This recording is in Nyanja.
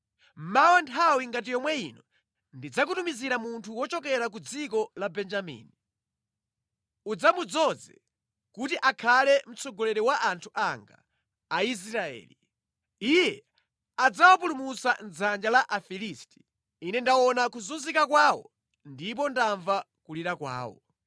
“Mawa nthawi ngati yomwe ino ndidzakutumizira munthu wochokera ku dziko la Benjamini. Udzamudzoze kuti akhale mtsogoleri wa anthu anga, Aisraeli. Iye adzawapulumutsa mʼdzanja la Afilisti. Ine ndaona kuzunzika kwawo ndipo ndamva kulira kwawo.”